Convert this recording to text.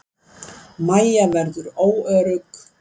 Mæja verður óörugg.